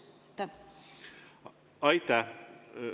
Aitäh!